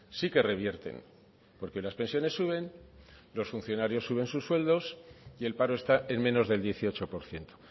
sí que revierten porque las pensiones suben los funcionarios suben sus sueldos y el paro está en menos del dieciocho por ciento